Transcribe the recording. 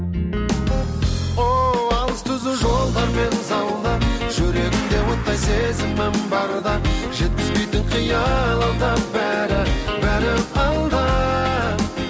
ооо алыс түзу жолдармен заула жүрегімде оттай сезімім барда жеткізбейтін қиял алда бәрі бәрі алда